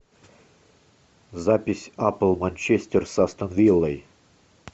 запись апл манчестер с астон виллой